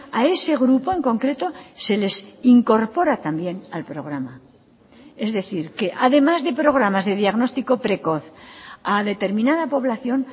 a ese grupo en concreto se les incorpora también al programa es decir que además de programas de diagnóstico precoz a determinada población